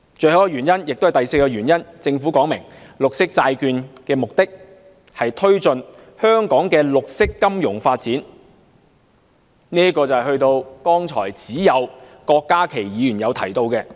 最後一個原因，也是第四個原因，就是政府說明綠色債券的目的是推進香港的綠色金融發展，這與剛才只有郭家麒議員提到的一點相呼應。